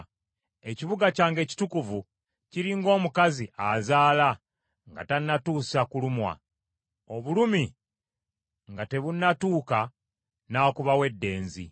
“Ekibuga kyange ekitukuvu kiri ng’omukazi azaala nga tannatuusa kulumwa, obulumi nga tebunatuuka n’akubawo eddenzi.